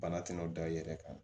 Bana tɛna da i yɛrɛ kan